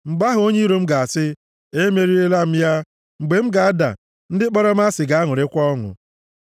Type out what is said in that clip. mgbe ahụ onye iro m ga-asị, “Emeriela m ya,” mgbe m ga-ada, ndị kpọrọ m asị ga-aṅụrịkwa ọṅụ.